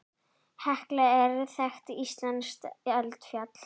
Hekla er þekkt íslenskt eldfjall.